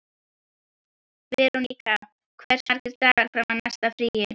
Veronika, hversu margir dagar fram að næsta fríi?